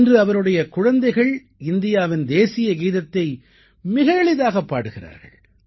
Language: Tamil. இன்று அவருடைய குழந்தைகள் இந்தியாவின் தேசிய கீதத்தை மிக எளிதாகப் பாடுகிறார்கள்